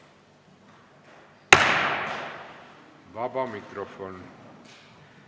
Vaba mikrofon.